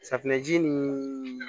Safunɛ ji nin